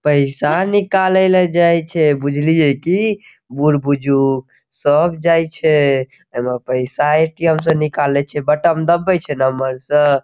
पैसा निकाले ले जाय छै बुझलिये कि बुढ-बुजुर्ग सब जाइ छै एमें पैसा ए.टी.एम. से निकाले छै बटम दबबे छै नंबर से --